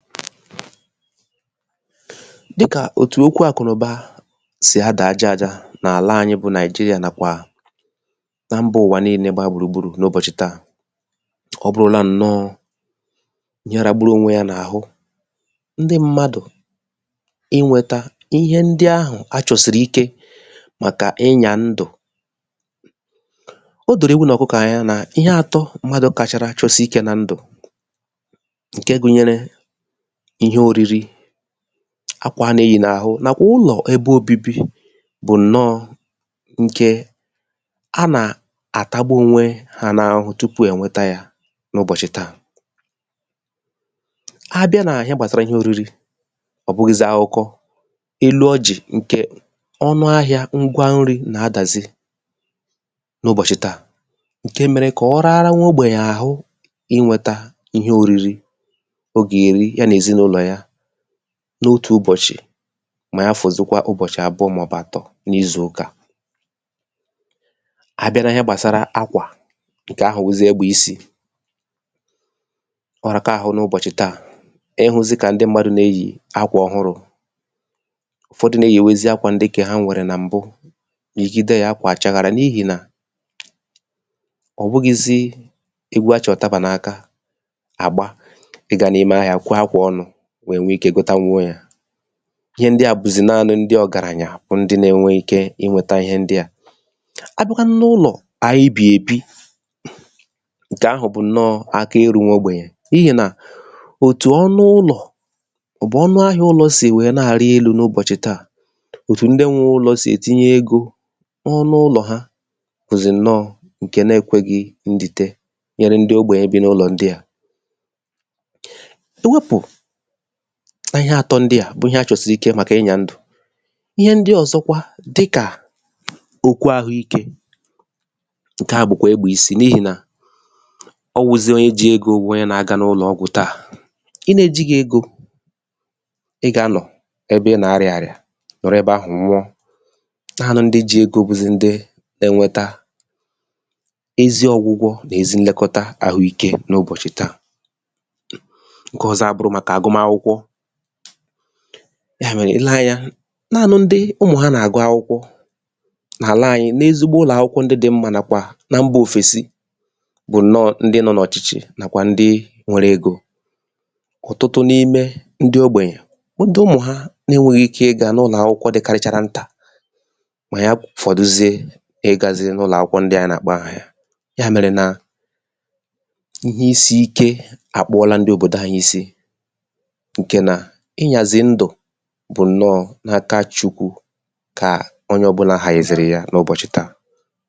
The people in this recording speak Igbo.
file 124 dikà òtù okwu àkụ̀nụba sì adà aja aja n’àla anyị bụ Naị̀jịrịà nàkwà na mbā ụ̀wà nille gba gbùrù gburù n’ụbọ̀chị̀ tà ọ bụrụla ǹnọ ya ragburu onwe ya n’àhụ ndị mmadù ị nwẹ̄ta ịhẹ ndị ahụ̀ a chọ̀sìrì ike màkà ịnyà ndụ̀ o dòrò ewu nà ọ̀kụkọ̀ any anà ịhẹ atọ mmadu kachara chọsị ikē nan ̀dụ̀ ǹkẹ gụnyẹrẹ ịhẹ oriri akwà a nà eyī n’àhụ nàkwà ụlọ̀ ẹbẹ obibi bụ̀ ǹnọ ǹkè a nà àtagbu onwe na ahụhụ tupù ẹ̀ nwẹta ya n’ụbọ̀chị̀ tà a bịa nà ịhẹ gbàsara ịhẹ oriri ọ̀ bụghị̄zị akụkọ elu ọjị̀ ǹkẹ̀ ọnụ ahịa ngwa nrị̄ nà adàzị n’ụbọ̀chị̀ tà ǹke mere kà ọ rara nwa ogbènyè àhụ ị nwẹ̄ta ịhẹ oriri o gà èri ya nà èzịnụlọ̀ ya n’otù ụbọ̀chị mà ya fọdụkwazịa ụbọchị̀ àbụọ mà ọ̀ bụ̀ àtọ n’ịzụkà abịa n’ịhẹ gbàsara akwà ǹkẹ̀ ahụ̀ wụzịa egbẹ̀ isī ọ raka ahụ n’ụbọ̀chị̀ tà ị hụ̄zị kà ndị m̀madù nà eyì akwà ọhụrụ̄ ụ̀fọdụ nà eyìwezi akwà ndị ǹkẹ̀ ha nwẹ̀rẹ̀ nà m̀bụ ọ̀ bụghịzị egwu a chị̀ ùtabà n’aka àgba ị ga n’ime ahịā kwẹ akwà ọnụ̄ wẹ nwẹ ikē ghotanwuo ya ịhẹ ndịà bụ̀zị̀ naanị ndị ọ̀gàrànya bụ ndị na ẹnwẹ ikē ị nwẹta ịhẹ ndịà a bịakwanụ n’ụlọ̀ anyị bì èbi ǹkẹ̀ ahụ̀ bụ̀ ǹnọ aka erū nwa ogbènyè n’ihì nà òtù ọnụ ụlọ̀ mà ọ̀ bụ̀ ọnụ ahịa ụlọ̀ sì wẹ nà àrị elū n’ubòchị̀ tà òtù ndị nwẹ ụlọ̄ sì ètinye egō ọnụ ụlọ̀ ha bụ̀zị ǹnọ ǹkẹ na ẹkwẹghị ndìte nyẹrẹ ndị ogbènye bi n’ụlọ̀ ndịà e wepu ịhẹ atọ ndịà bụ ịhẹ a chọ̀sìrì ike màkà ịnyà ndụ̀ ịhẹ ndị ọzọkwa dịkà okwu ahụ ikē ǹkẹ̀ à bụ̀kwà ẹgbẹ̀ isī n’ihì nà ọ wụzị̄ onye ji egō wụ pnye na aga n’ụnọ̀ ọgwụ̀ tà ị na ejighi egō ị gà à nọ̀ ẹbẹ ị nà arịā àrịà nọ̀rọ ẹbẹ ahụ̀ nwụọ naanị ndị ji egō bụ̀zị̀ ndị na ẹnwẹta ezi ọgwụgwọ nà ezi nnẹkọta ahụ ikē n;ubọ̀chị̀ tà ǹkẹ ọzọ àbụrụ màkà àhụikē yà mẹrẹ ị lẹ anya naanị ndị ụmụ̀ ha nà àgụ akwụkwọ n’àla anyị n’ezigbo ụlọ̀ akwụkwọ ndị dị mmā nàkwà na mbā òfèsi bụ̀ ǹnọ ndị nọ n’ọ̀chịchị nàkwà ndị nwẹrẹ egō ọ̀tụtụ n’ime ndị ogbènyè ndị ụmụ̀ ha na ẹnwẹrọ ike ị gā n’ụlọ̀ akwụkwọ dịkarịchara ntà mà ya fọ̀duzie ị gāzị n’ụlọ̀ akwụkwọ ndị ahụ̀ a nà àkpọ afà ịhẹ isīike àkpụọla ndị òbòdò anyị isi ǹkẹ̀ nà ị nyazị̀ ndụ̀ bụ̀ ǹnọ n’aka Chukwu kà onye ọbụlā hànyèzị̀rị̀ ya n’ụbọ̀chị̀ tà